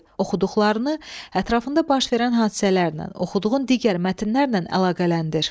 Oxuduqlarını ətrafında baş verən hadisələrlə, oxuduğun digər mətnlərlə əlaqələndir.